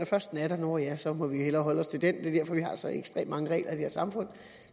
først den er der nå ja så må vi hellere holde os til den det er derfor vi har så ekstremt mange regler i det her samfund